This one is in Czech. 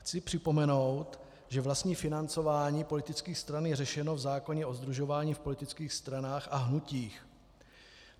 Chci připomenout, že vlastní financování politických stran je řešeno v zákoně o sdružování v politických stranách a hnutích.